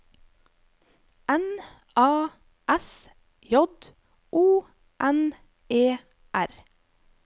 N A S J O N E R